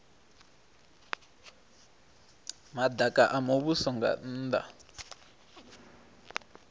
madaka a muvhuso nga nnda